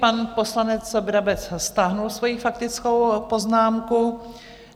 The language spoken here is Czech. Pan poslanec Brabec stáhl svoji faktickou poznámku.